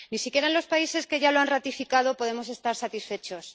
Ni siquiera en los países que ya lo han ratificado podemos estar satisfechos.